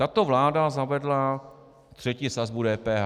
Tato vláda zavedla třetí sazbu DPH.